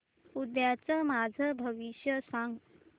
उद्याचं माझं भविष्य सांग